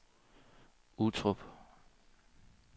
Uttrup